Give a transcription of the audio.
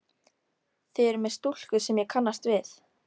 Þið eruð með stúlku sem ég kannast við!